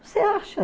Você acha?